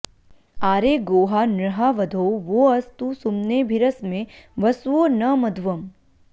आरे गोहा नृहा वधो वो अस्तु सुम्नेभिरस्मे वसवो नमध्वम्